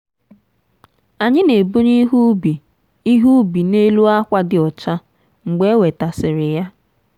anyị na-ebunye ihe ubi ihe ubi n'elu akwa dị ọcha mgbe e wetasịrị ya.